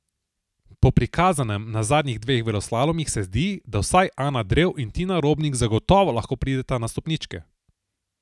Po prikazanem na zadnjih dveh veleslalomih se zdi, da vsaj Ana Drev in Tina Robnik zagotovo lahko prideta na stopničke ...